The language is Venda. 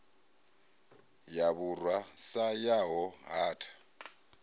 ya vhurwa sa yaho hatha